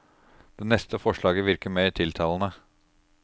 Det neste forslaget virket mer tiltalende.